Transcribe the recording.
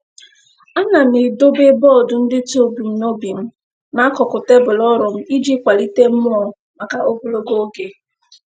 A na m edobe bọọdụ ndetu ebumnobi m n'akụkụ tebụl ọrụ m iji kwalite mmụọ maka ogologo oge.